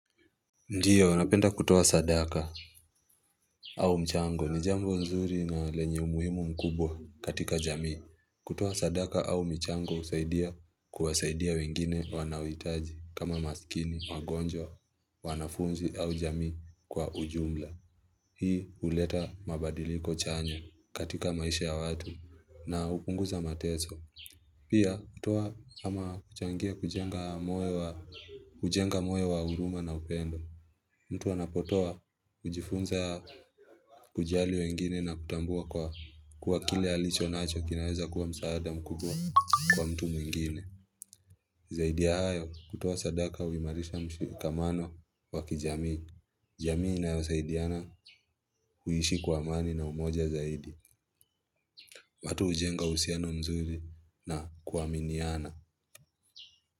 Ndio napenda kutoa sadaka au mchango ni jambo nzuri na lenye umuhimu mkubwa katika jamii. Kutoa sadaka au mchango husaidia kuwasaidia wengine wanaohitaji kama maskini, wagonjwa, wanafunzi au jamii kwa ujumla. Hii huleta mabadiliko chanya katika maisha ya watu na hupunguza mateso. Pia kutoa ama kuchangia kujenga moyo wa ujenga moyo wa huruma na upendo. Mtu anapotoa, hujifunza kujali wengine na kutambua kwa kwa kile alicho nacho kinaweza kuwa msaada mkubwa kwa mtu mwingine. Zaidi ya hayo, kutuoa sadaka huimarisha mshikamano wa kijamii. Jamii inayosaidiana huishi kwa mani na umoja zaidi. Watu hujenga usiano mzuri na kuaminiana.